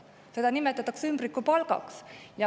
Seda nimetatakse ümbrikupalgaks.